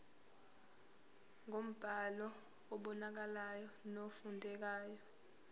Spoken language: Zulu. ngombhalo obonakalayo nofundekayo